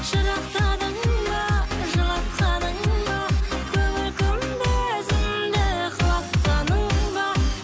жырақтадың ба жылатқаның ба көңіл күмбезімді құлатқаның ба